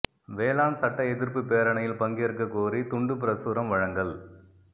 வேளாண் சட்ட எதிா்ப்புப் பேரணியில் பங்கேற்கக் கோரி துண்டுப் பிரசுரம் வழங்கல்